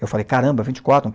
Eu falei, caramba, vinte e quatro